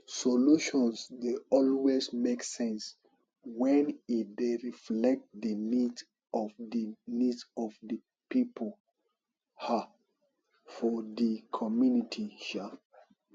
solutions dey always make sense when e dey reflect di needs of di needs of di pipu um for di commnity um